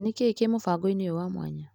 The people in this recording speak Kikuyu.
Nĩkĩĩ kĩ mũbango-inĩ ũyũ wa mwanya?